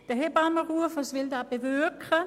Was will der Hebammenruf bewirken?